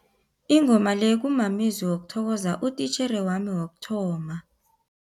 Ingoma le kumamezwi wokuthokoza utitjhere wami wokuthoma.